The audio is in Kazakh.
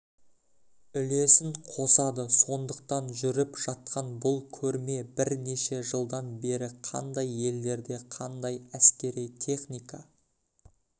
үлесін қосады сондықтан жүріп жатқан бұл көрме бірнеше жылдан бері қандай елдерде қандай әскери техника